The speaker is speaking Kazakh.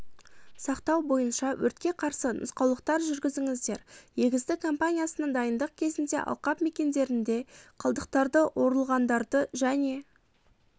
сақтау бойынша өртке қарсы нұсқаулықтар жүргізіңіздер егістік компаниясына дайындық кезінде алқап мекендерінде қалдықтарды орылғандарды және